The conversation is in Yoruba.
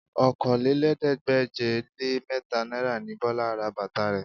Okòólélẹ́ẹ̀ẹ́dégbèje-le-mẹ́ta náírà ni Bọlá ra bàtà rẹ̀